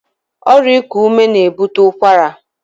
Ọrịa iku ume na-ebute ụkwara.